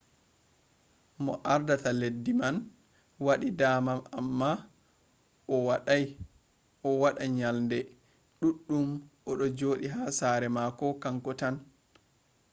mo ardata leddi man waɗi dama amma o waɗa nyalaɗe ɗuɗɗum o ɗo joɗi ha sare mako kanko tan